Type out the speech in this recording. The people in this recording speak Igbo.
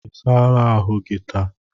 I saala ahụ gi taa?